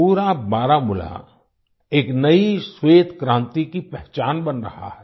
पूरा बारामूला एक नयी श्वेत क्रांति की पहचान बन रहा है